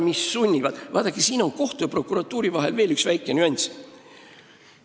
Vaadake, kohtu ja prokuratuuri puhul on siin veel üks väike nüanss.